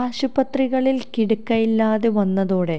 ആശുപത്രികളില് കിടക്കയില്ലാതെ വന്നതോടെ